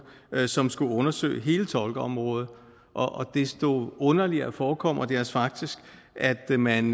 som skulle undersøge hele tolkeområdet desto underligere forekommer det os faktisk at man